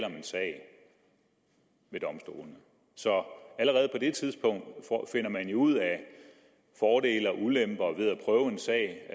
en sag ved domstolene så allerede på det tidspunkt finder man jo ud af fordele og ulemper ved at prøve en sag